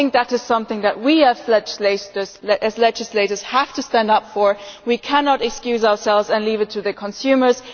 I think that is something that we, as legislators, have to stand up for. We cannot excuse ourselves and leave it to the consumers.